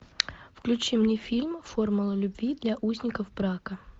включи мне фильм формула любви для узников брака